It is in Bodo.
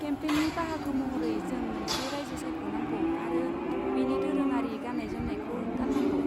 केम्पेननि बाहागो महरै जों मोनसे रायजो सायख'नांगौ आरो बेनि दोरोङारि गान्नाय जोंमनायखौ गान्नांगौ।